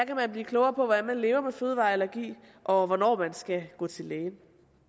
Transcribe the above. kan man blive klogere på hvordan man lever med fødevareallergi og hvornår man skal gå til lægen